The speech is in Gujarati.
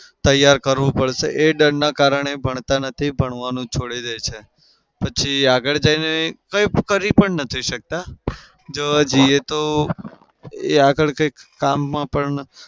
તેયાર કરવું પડશે એ ડરના કારણે ભણતા નથી. ભણવાનું છોડી દે છે. પછી આગળ જઈને કઈ કરી પણ નહિ શકતા. જોવા જઈએ તો એ આગળ કંઈ કામમાં પણ